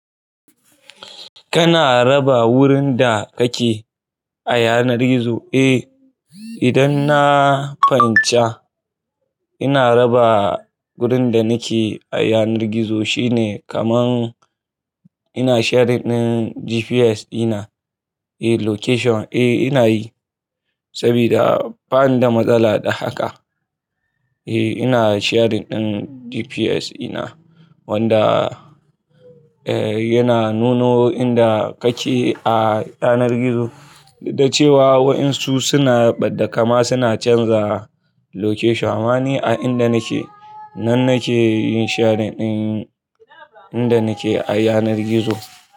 Kana raba wurin da kake a yanar gizo? Eh, idan na fahimci ina raba wurin da nake a yanar gizo shine kaman ina sharing ɗin GPS ina, eh location eh ina yi saboda ban da matsala da haka. Eh ina sharing ɗin GPS ina wadda eh yana nuna inda kake a yanar gizo, da cewa waɗansu suna ɓada kama suna canza location wani a inda nake nan nake yin sharing ɗin inda nake a yanar gizo.